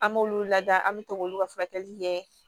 An b'olu lada an be to k'olu ka furakɛli kɛ